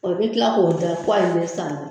me kila k'o da k'ale bɛ saani